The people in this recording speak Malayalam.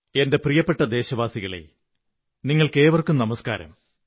എന്റെ പ്രിയപ്പെട്ട ദേശവാസികളേ നിങ്ങള്ക്കേ്വര്ക്കും നമസ്കാരം